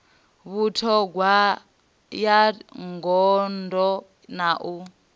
vhuṱhogwa ya gondo na u